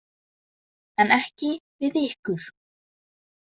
En ekki við ykkur.